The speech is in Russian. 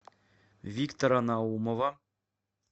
виктора наумова